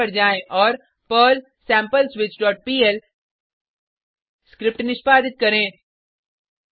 terminal पर जाएँ और पर्ल sampleswitchपीएल स्क्रिप्ट निष्पादित करें